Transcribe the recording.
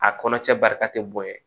A kɔnɔ cɛ barika tɛ bonya